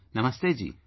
Namaste ji